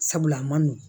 Sabula a ma nɔgɔn